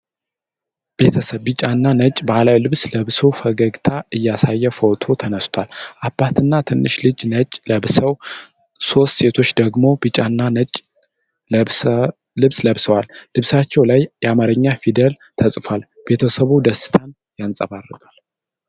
ቤተሰብ ቢጫና ነጭ ባህላዊ ልብስ ለብሶ ፈገግታ እያሳየ ፎቶ ተነስቷል። አባትና ትንሽ ልጅ ነጭ ለብሰው፣ ሦስቱ ሴቶች ደግሞ ቢጫና ነጭ ልብስ ለብሰዋል። ልብሳቸው ላይ የአማርኛ ፊደላት ተጽፈዋል። ቤተሰቡ ደስታን ያንጸባርቃል?